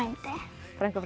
frænka